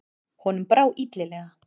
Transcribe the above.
Honum brá illilega.